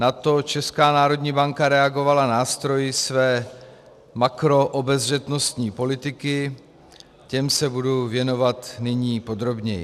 Na to Česká národní banka reagovala nástroji své makroobezřetnostní politiky, těm se budu věnovat nyní podrobněji.